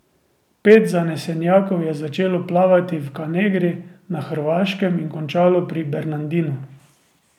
Pet zanesenjakov je začelo plavati v Kanegri na Hrvaškem in končalo pri Bernardinu.